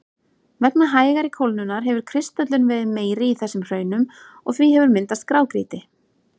Vegna hægari kólnunar hefur kristöllun verið meiri í þessum hraunum og því hefur myndast grágrýti.